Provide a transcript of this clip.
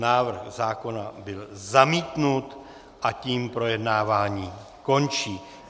Návrh zákona byl zamítnut a tím projednávání končí.